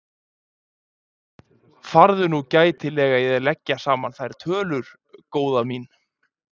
Farðu nú gætilega í að leggja saman þær tölur, góða mín.